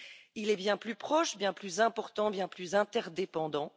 il est bien plus proche, bien plus important, bien plus interdépendant.